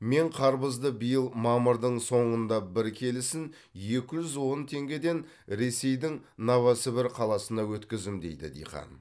мен қарбызды биыл мамырдың соңында бір келісін екі жүз он теңгеден ресейдің новосібір қаласына өткіздім дейді диқан